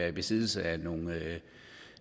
i besiddelse af nogle